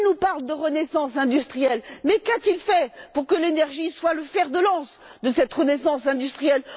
M. Barroso nous parle de renaissance industrielle, mais qu'a t il fait pour que l'énergie soit le fer de lance de cette renaissance industrielle?